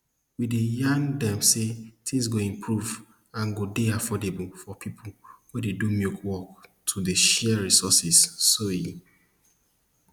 we dey yarn dem say tins go improve and go dey affordable for pipo wey dey do milk work to dey share resources so e